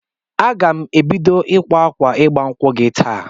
Aga m ebido ịkwa akwa ịgba nkwụ gị taa